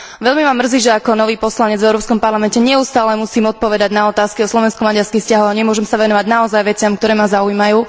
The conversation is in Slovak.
Veľmi ma mrzí, že ako nový poslanec v Európskom parlamente musím neustále odpovedať na otázky o slovensko maďarských vzťahoch a nemôžem sa venovať veciam, ktoré ma naozaj zaujímajú.